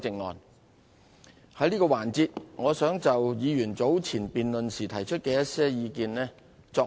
我想在這個環節扼要回應委員早前在辯論時提出的一些意見。